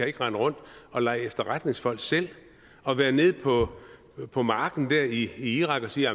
ikke rende rundt og lege efterretningsfolk selv og være nede på på marken der i irak og sige